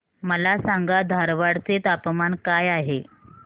मला सांगा धारवाड चे तापमान काय आहे